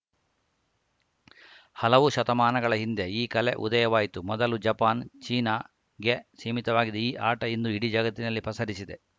ಹಲವು ಶತಮಾನಗಳ ಹಿಂದೆ ಈ ಕಲೆ ಉದಯವಾಯಿತು ಮೊದಲು ಜಪಾನ್‌ ಚೀನಾಗೆ ಸೀಮಿತವಾಗಿದ್ದ ಈ ಆಟ ಇಂದು ಇಡೀ ಜಗತ್ತಿನಲ್ಲಿ ಪಸರಿಸಿದೆ